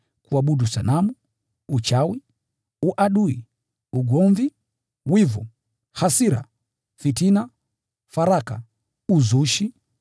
kuabudu sanamu, uchawi, uadui, ugomvi, wivu, hasira, fitina, faraka, uzushi,